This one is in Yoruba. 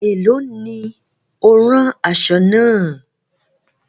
Ẹ̀lọ́ ni o rán aṣọ̣ náà?